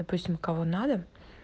допустим кого надо